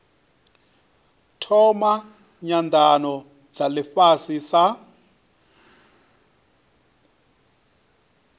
thoma nyanano dza ifhasi sa